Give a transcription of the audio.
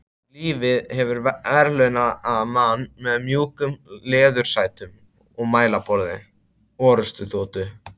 Lífið hefur verðlaunað mann með mjúkum leðursætum og mælaborði orrustuþotu.